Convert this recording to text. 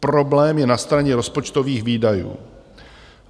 Problém je na straně rozpočtových výdajů.